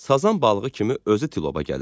Sazan balığı kimi özü tıloba gəlir.